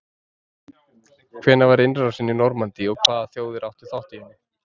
Hvenær var innrásin í Normandí og hvaða þjóðir áttu þátt í henni?